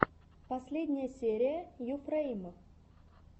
последняя серия юфрэйм